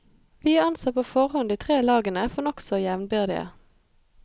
Vi anså på forhånd de tre lagene for nokså jevnbyrdige.